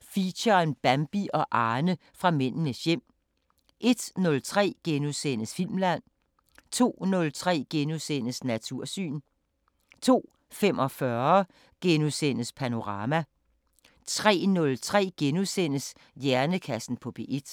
Feature: Bambi og Arne fra Mændenes hjem * 01:03: Filmland * 02:03: Natursyn * 02:45: Panorama * 03:03: Hjernekassen på P1 *